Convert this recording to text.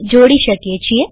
ને જોડી શકીએ છીએ